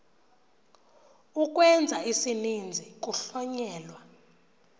ukwenza isininzi kuhlonyelwa